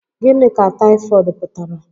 Gịnị ka Taofiq pụtara?